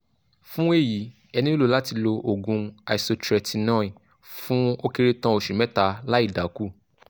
fún èyí ẹ nílò láti lo òògùn isotretinoin fún ó kéré tàn oṣù mẹ́ta láìdákù